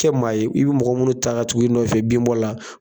Kɛ maa ye , i bɛ mɔgɔ minnu ta ka tugu i nɔfɛ binbɔ la